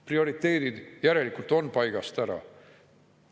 Prioriteedid järelikult on paigast ära.